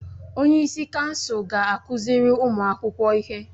Onyeisi kansụl ga-akụziri ụmụ akwụkwọ ihe.